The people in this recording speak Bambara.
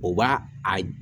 O b'a a